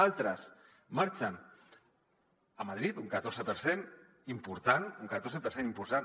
altres marxen a madrid un catorze per cent important un catorze per cent important